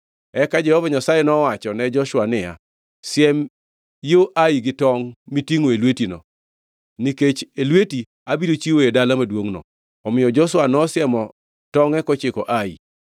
Eka Jehova Nyasaye nowachone Joshua niya, “Siem yo Ai gi tongʼ mitingʼo e lwetino, nikech e lweti abiro chiwoe dala maduongʼno.” Omiyo Joshua nosiemo tongʼe kochiko Ai.